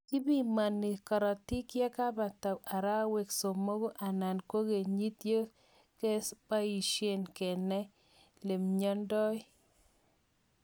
kibimanii korotik yakepata araweek somogu anan ko kenyit segepaisyee kenai lenyonundai m